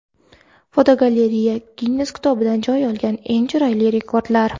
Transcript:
Fotogalereya: Ginnes kitobidan joy olgan eng g‘aroyib rekordlar.